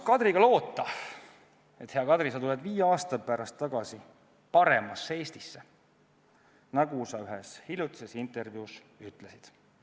Me loodame, et sa, hea Kadri, tuled viie aasta pärast tagasi paremasse Eestisse, nagu sa ühes hiljutises intervjuus ütlesid.